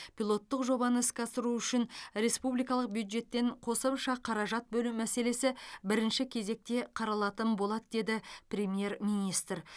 пилоттық жобаны іске асыру үшін республикалық бюджеттен қосымша қаражат бөлу мәселесі бірінші кезекте қаралатын болады деді премьер министр